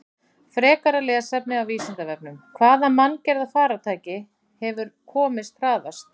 Frekara lesefni af Vísindavefnum: Hvaða manngerða farartæki hefur komist hraðast?